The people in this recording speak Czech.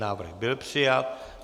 Návrh byl přijat.